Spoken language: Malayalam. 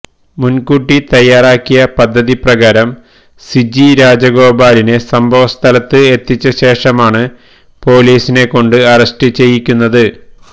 മുന്കൂട്ടി തയ്യാറാക്കിയ പദ്ധതി പ്രകാരം സിജി രാജഗോപാലിനെ സംഭവസ്ഥലത്ത് എത്തിച്ച ശേഷമാണ് പൊലീസിനെ കൊണ്ട് അറസ്റ്റ് ചെയ്യിക്കുന്നത്